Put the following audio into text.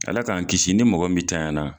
Ala k'an kisi ni mɔgɔ min tanya la.